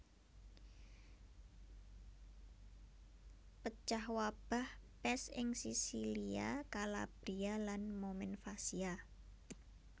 Pecah wabah pès ing Sisilia Kalabria lan Momenvasia